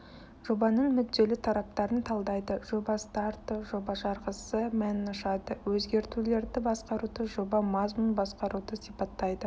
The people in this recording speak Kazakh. жобаның мүдделі тараптарын талдайды жоба старты жоба жарғысы мәнін ашады өзгертулерді басқаруды жоба мазмұнын басқаруды сипаттайды